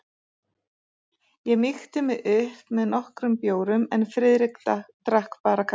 Ég mýkti mig upp með nokkrum bjórum en Friðrik drakk bara kaffi.